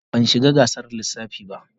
A'a, ban shiga gasar lissafi ba.